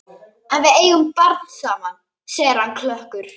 En við eigum barn saman, segir hann klökkur.